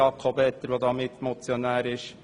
der Mitmotionär, Jakob Etter, kennt es.